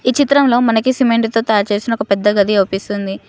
ఈ చిత్రంలో మనకి సిమెంటుతో తయారుచేసిన ఒక పెద్ద గది కనిపిస్తుంది.